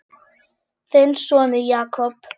Þinn sonur, Jakob.